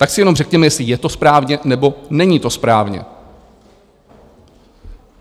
Tak si jenom řekněme, jestli je to správně, nebo není to správně.